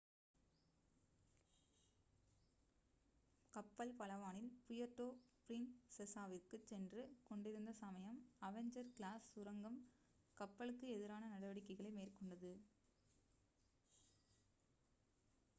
கப்பல் பலவானில் புயர்டோ பிரின்செசாவிற்குச் சென்று கொண்டிருந்த சமயம் அவெஞ்சர் கிளாஸ் சுரங்கம் கப்பலுக்கு எதிரான நடவடிக்கைகளை மேற்கொண்டது